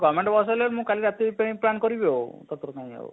govement bus ହେଲେ ମୁଁ କାଲି ରାତି ପାଇଁ plan କରିବି ଆଉ କାଇଁ ଆଉ?